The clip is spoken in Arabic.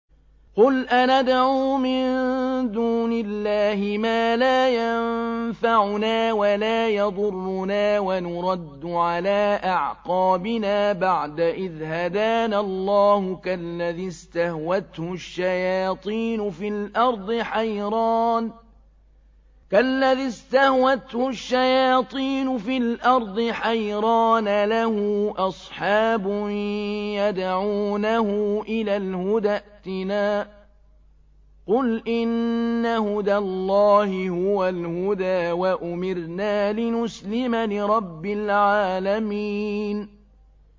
قُلْ أَنَدْعُو مِن دُونِ اللَّهِ مَا لَا يَنفَعُنَا وَلَا يَضُرُّنَا وَنُرَدُّ عَلَىٰ أَعْقَابِنَا بَعْدَ إِذْ هَدَانَا اللَّهُ كَالَّذِي اسْتَهْوَتْهُ الشَّيَاطِينُ فِي الْأَرْضِ حَيْرَانَ لَهُ أَصْحَابٌ يَدْعُونَهُ إِلَى الْهُدَى ائْتِنَا ۗ قُلْ إِنَّ هُدَى اللَّهِ هُوَ الْهُدَىٰ ۖ وَأُمِرْنَا لِنُسْلِمَ لِرَبِّ الْعَالَمِينَ